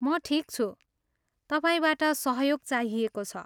म ठिक छु। तपाईँबाट सहयोग चाहिएको छ।